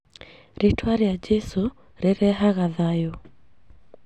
Rĩtwa rĩa jesũ rĩrehaga thayũ